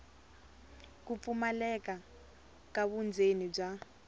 ku pfumaleka ka vundzeni bya